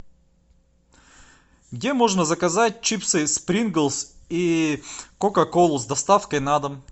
где можно заказать чипсы принглс и кока колу с доставкой на дом